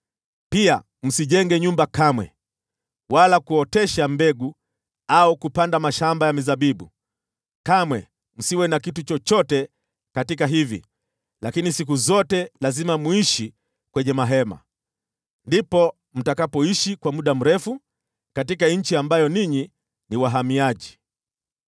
Pia msijenge nyumba kamwe, wala kuotesha mbegu au kupanda mashamba ya mizabibu. Kamwe msiwe na kitu chochote katika hivi, lakini siku zote lazima muishi kwenye mahema. Ndipo mtakapoishi kwa muda mrefu katika nchi ambayo ninyi ni wahamiaji.’